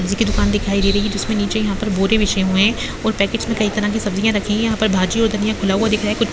सब्जी की दुकान दिखाई दे रही है जिसमें नीचे यहां पर बोड़े बीछे हुए हैं और पैकेट्स में कई तरह की सब्जियां रखी हुई है यहां पर भाजी और धनिया खुला हुआ दिख रहा है कुछ --